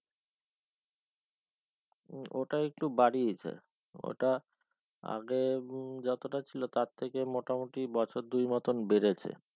হম ওটা একটু বাড়িয়েছে দেয় ওটা আগে উম যতটা ছিল তার থেকে মোটামুটি বছর দুই মতো বেড়েছে